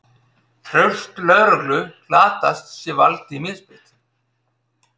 Traust lögreglu glatast sé valdi misbeitt